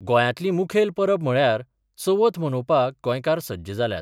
गोंयांतली मुखेल परब म्हळ्यार चवथ मनोवपाक गोंयकार सज्ज जाल्यात.